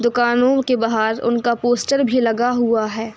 दुकानो के बाहर उनका पोस्टर भी लगा हुआ है।